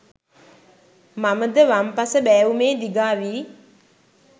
මම ද වම් පස බෑවුමේ දිගා වී